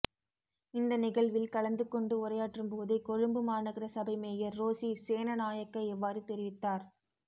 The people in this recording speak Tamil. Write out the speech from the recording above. இந்த நிகழ்வில் கலந்து கொண்டு உரையாற்றும் போதே கொழும்பு மாநகர சபை மேயர் ரோசி சேனநாயக்க இவ்வாறு தெரிவித்தார்